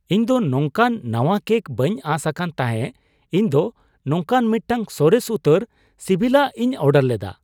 ᱤᱧ ᱫᱚ ᱱᱚᱝᱠᱟᱱ ᱱᱟᱣᱟ ᱠᱮᱠ ᱵᱟᱹᱧ ᱟᱸᱥ ᱟᱠᱟᱱ ᱛᱟᱦᱮᱸ ᱤᱧ ᱫᱚ ᱱᱚᱝᱠᱟᱱ ᱢᱤᱫᱴᱟᱝ ᱥᱚᱨᱮᱥ ᱩᱛᱟᱹᱨ ᱥᱤᱵᱤᱞᱟᱜ ᱤᱧ ᱚᱰᱟᱨ ᱞᱮᱫᱟ !